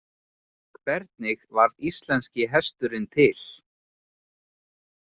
Hvernig varð íslenski hesturinn til?